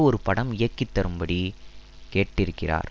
ஒரு படம் இயக்கித்தரும்படி கேட்டிருக்கிறார்